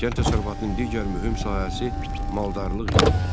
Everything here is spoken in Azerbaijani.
Kənd təsərrüfatının digər mühüm sahəsi maldarlıq idi.